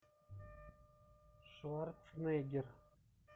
шварценеггер